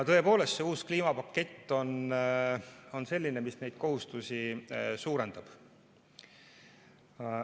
Tõepoolest, uus kliimapakett on selline, mis neid kohustusi suurendab.